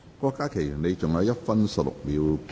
郭家麒議員，你還有1分16秒答辯。